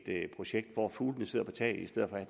et projekt hvor fuglene sidder på taget i stedet